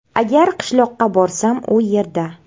Agar qishloqqa borsam u yerda.